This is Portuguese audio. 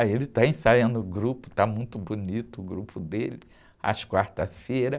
Aí ele está ensaiando o grupo, está muito bonito o grupo dele, às quarta-feira.